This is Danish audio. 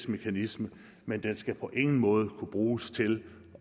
mekanisme men den skal på ingen måde kunne bruges til